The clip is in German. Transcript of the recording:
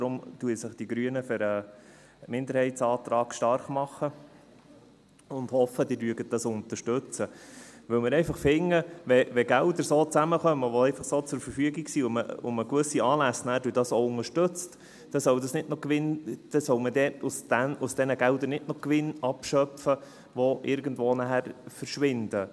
Deshalb machen sich die Grünen für den Minderheitsantrag stark und hoffen, Sie werden dies unterstützen, weil wir einfach finden, dass, wenn Gelder, die einfach so zur Verfügung stehen, so zusammenkommen und man damit auch gewisse Anlässe unterstützt, dann soll davon nicht noch Gewinn abgeschöpft werden, der dann irgendwo verschwindet.